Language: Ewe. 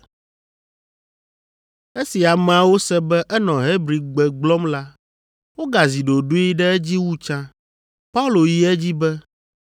Esi ameawo se be enɔ Hebrigbe gblɔm la, wogazi ɖoɖoe ɖe edzi wu tsã. Paulo yi edzi be,